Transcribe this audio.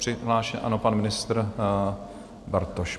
Přihlášen, ano, pan ministr Bartoš.